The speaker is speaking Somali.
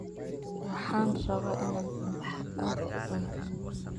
Waxan rabaa inan cunta aad uucuno.